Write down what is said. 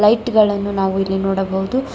Light ಗಳನ್ನು ನಾವು ಇಲ್ಲಿ ನೋಡಬಹುದು.